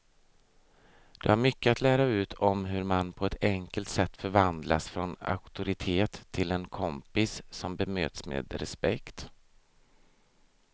De har mycket att lära ut om hur man på ett enkelt sätt förvandlas från auktoritet till en kompis som bemöts med respekt.